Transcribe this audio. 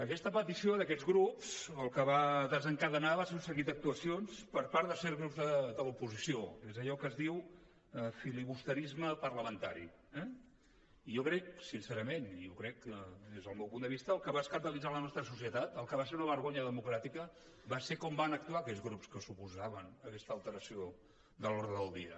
aquesta petició d’aquests grups el que va desencadenar va ser un seguit d’actuacions per part de certs grups de l’oposició és allò que es diu filibusterisme parlamentari eh i jo crec sincerament i ho crec des del meu punt de vista que el que va escandalitzar la nostra societat el que va ser una vergonya democràtica va ser com van actuar aquests grups que s’oposaven a aquesta alteració de l’ordre del dia